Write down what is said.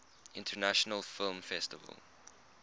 international film festival